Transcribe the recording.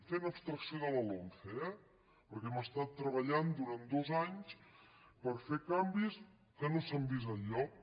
fent abstracció de la lomce eh perquè hem estat treballant durant dos anys per fer canvis que no s’han vist enlloc